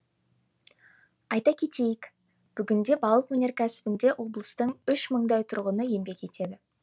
айта кетейік бүгінде балық өнеркәсібінде облыстың үш мыңдай тұрғыны еңбек етеді